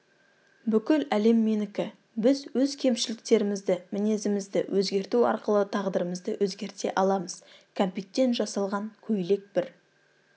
бүкіл әлем менікі біз өз кемшіліктерімізді мінезімізді өзгерту арқылы тағдырымызды өзгерте аламыз кәмпиттен жасалған көйлек бір